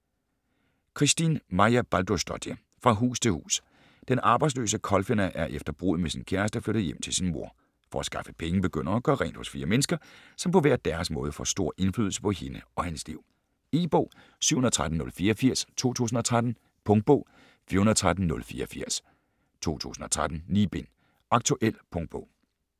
Kristín Marja Baldursdóttir: Fra hus til hus Den arbejdsløse Kolfinna er efter bruddet med sin kæreste flyttet hjem til sin mor. For at skaffe penge begynder hun at gøre rent hos fire mennesker, som på hver deres måde får stor indflydelse på hende og hendes liv. E-bog 713084 2013. Punktbog 413084 2013.9 bind. Aktuel punktbog